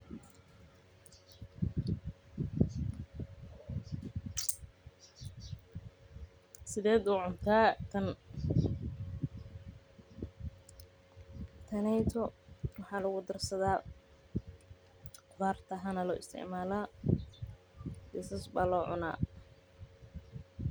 Sideed ucuntaa tan waxaa lagu darsadaa baar ahaan ayaa loo isticmaala.